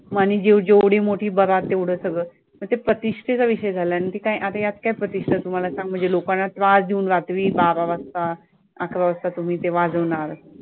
आणि जे जेवढी मोठी बारात तेवढं सगळं मग प्रतिष्ठेचा विषय झालाय आणि ते काय आता यात काय प्रतिष्ठा तू मला सांग म्हणजे लोकांना त्रास देऊन रात्री बारा वाजता अकरा वाजता तुम्ही ते वाजवणार